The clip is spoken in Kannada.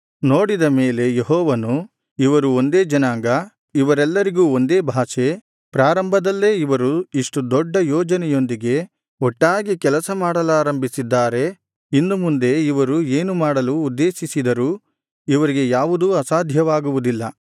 ನೋಡಿದ ಮೇಲೆ ಯೆಹೋವನು ಇವರು ಒಂದೇ ಜನಾಂಗ ಇವರೆಲ್ಲರಿಗೂ ಒಂದೇ ಭಾಷೆ ಪ್ರಾರಂಭದಲ್ಲೇ ಇವರು ಇಷ್ಟು ದೊಡ್ಡ ಯೋಜನೆಯೊಂದಿಗೆ ಒಟ್ಟಾಗಿ ಕೆಲಸ ಮಾಡಲಾರಂಭಿಸಿದ್ದಾರೆ ಇನ್ನು ಮುಂದೆ ಇವರು ಏನು ಮಾಡಲು ಉದ್ದೇಶಿಸಿದರೂ ಇವರಿಗೆ ಯಾವುದೂ ಅಸಾಧ್ಯವಾಗುವುದಿಲ್ಲ